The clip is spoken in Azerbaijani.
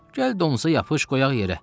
Gəl donusa yapış qoyaq yerə.